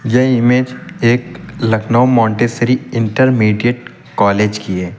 यह इमेज एक Lucknow Montessori intermediate college की है।